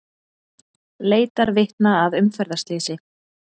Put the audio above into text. Leitar vitna að umferðarslysi